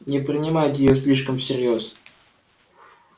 не принимайте её слишком всерьёз